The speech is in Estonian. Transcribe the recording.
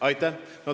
Aitäh!